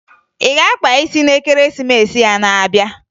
Ị ga-akpa isi n'Ekeresimesi na-abịa.